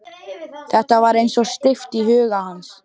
Þetta var eins og steypt í huga hans.